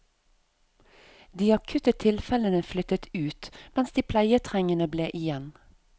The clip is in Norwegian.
De akutte tilfellene flyttet ut, mens de pleietrengende ble igjen.